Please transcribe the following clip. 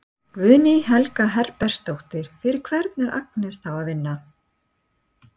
Guðný Helga Herbertsdóttir: Fyrir hvern er Agnes þá að vinna?